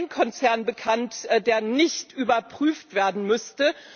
Mir ist kein Konzern bekannt, der nicht überprüft werden müsste.